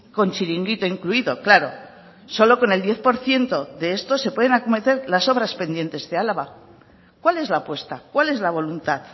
con chiringuito incluido claro solo con el diez por ciento de esto se pueden acometer las obras pendientes de álava cuál es la apuesta cuál es la voluntad